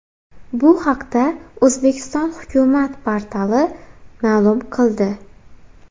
Bu haqda O‘zbekiston hukumat portali ma’lum qildi .